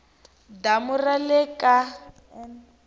damu ra le ka n